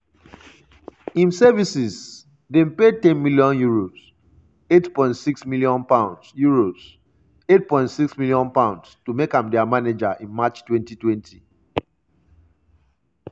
im services- dem pay 10m euros (â£8.6m) euros (â£8.6m) to make am dia manager in march 2020.